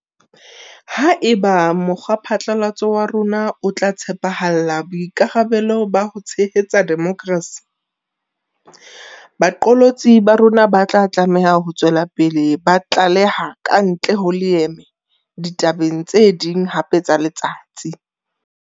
Haeba mokgwaphatlalatso wa rona o tla tshepahalla boikarabelo ba ho tshehetsa demokrasi, baqolotsi ba rona ba tlameha ho tswela pele ba tlaleha kantle ho leeme ditabeng tse ding hape tsa letsatsi.